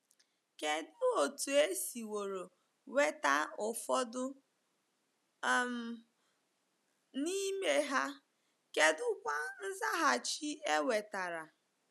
Kedụ otú e siworo nweta ụfọdụ um n’ime ha, kedụkwa nzaghachi e nwetara?